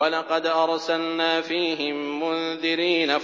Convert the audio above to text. وَلَقَدْ أَرْسَلْنَا فِيهِم مُّنذِرِينَ